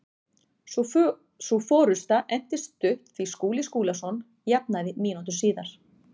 Sú forusta entist stutt því Skúli Skúlason jafnaði mínútu síðar.